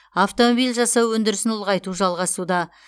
автомобиль жасау өндірісін ұлғайту жалғасуда